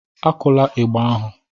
Akula ịgbà ahụ!